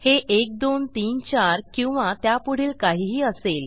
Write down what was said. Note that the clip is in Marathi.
हे 1 2 3 4 किंवा त्यापुढील काहीही असेल